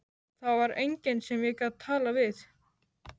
Það var enginn sem ég gat talað við.